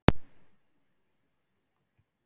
Hver er uppáhaldsstaður þinn í öllum heiminum?